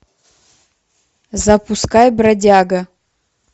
запускай бродяга